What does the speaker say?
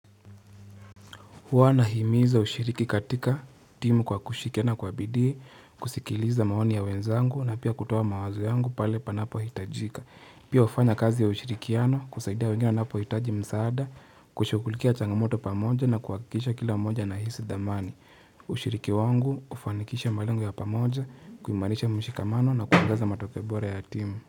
Huwa na himiza ushiriki katika timu kwa kushikiana kwa bidii, kusikiliza maoni ya wenzangu na pia kutoa mawazo yangu pale panapo hitajika. Pia wafanya kazi ya ushirikiano kusaidia wengine napohitaji msaada, kushugulikia changamoto pamoja na kuhakikisha kila mmoja anahisi dhamani. Ushiriki wangu kufanikisha malengo ya pamoja, kuimarisha mshikamano na kuongeza matokeo bora ya timu.